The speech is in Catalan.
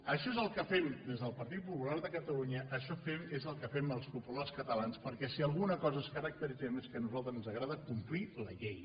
això és el que fem des del partit popular de catalunya això és el que fem els populars catalans perquè si en alguna cosa ens caracteritzem és que a nosaltres ens agrada complir la llei